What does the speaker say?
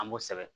An b'o sɛbɛn